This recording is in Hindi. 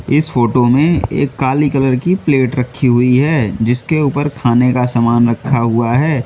इस फोटो में एक काली कलर की प्लेट रखी हुई है जिसके ऊपर खाने का सामान रखा हुआ है।